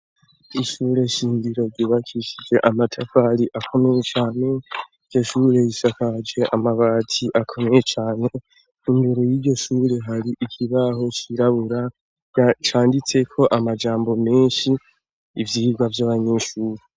Ishuri shingiro ryubakishije amatafari akomeye cane iryo shuri risakaje amabati akomeye cane imbere yiryo shuri hari ikibaho cirabura canditseko amajambo meshi ivyirwa vyabanyeshuri